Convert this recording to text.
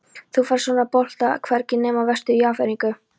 Þú færð svona bolta hvergi nema vestur í Ameríku.